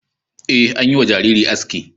Ee, an yi wa jaririn aski.